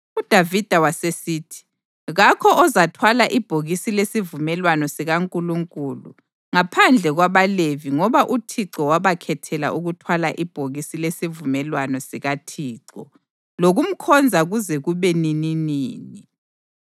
UDavida wasesithi: “Kakho ozathwala ibhokisi lesivumelwano sikaNkulunkulu ngaphandle kwabaLevi ngoba uThixo wabakhethela ukuthwala ibhokisi lesivumelwano sikaThixo lokumkhonza kuze kube nininini.”